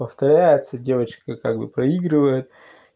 повторяется девочка как бы проигрывает